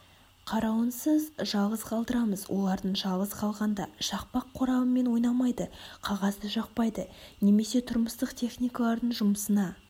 қарауынсыз жалғыз қалдырамыз олардың жалғыз қалғанда шақпақ қорабымен ойнамайды қағазды жақпайды немесе тұрмыстық техникалардың жұмысына